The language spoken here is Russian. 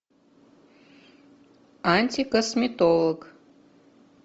антикосметолог